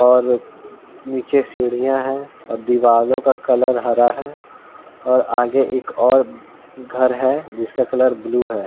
और नीचे सीढियाँ हैं और दीवालों का कलर हरा है और आगे एक और घर है जिसका कलर ब्लू है।